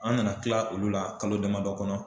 An nana kila olu la kalo damadɔ kɔnɔ